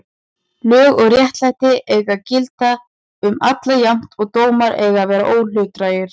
Lög og réttlæti eiga að gilda um alla jafnt og dómar eiga að vera óhlutdrægir.